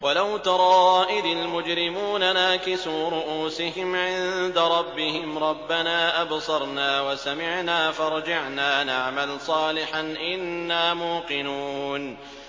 وَلَوْ تَرَىٰ إِذِ الْمُجْرِمُونَ نَاكِسُو رُءُوسِهِمْ عِندَ رَبِّهِمْ رَبَّنَا أَبْصَرْنَا وَسَمِعْنَا فَارْجِعْنَا نَعْمَلْ صَالِحًا إِنَّا مُوقِنُونَ